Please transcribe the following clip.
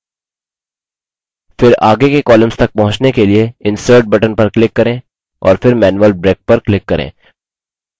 फिर आगे के columns तक पहुँचने के लिए insert button पर click करें और फिर manual break पर click करें